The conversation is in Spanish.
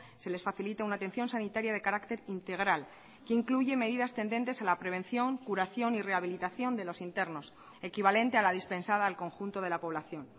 se les facilita una atención sanitaria de carácter integral que incluye medidas tendentes a la prevención curación y rehabilitación de los internos equivalente a la dispensada al conjunto de la población